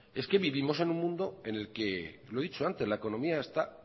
es que vivimos en un mundo en el que lo he dicho antes la economía está